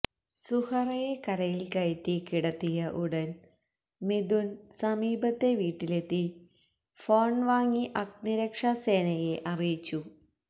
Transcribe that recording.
സുഹറയെ കരയിൽക്കയറ്റി കിടത്തിയ ഉടൻ മിഥുൻ സമീപത്തെ വീട്ടിലെത്തി ഫോൺവാങ്ങി അഗ്നിരക്ഷാസേനയെ അറിയിച്ചു